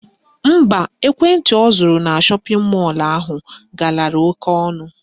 Mba, ekwentị ọ zụrụ na shọpịn mọlụ ahụ galara oke ọnụ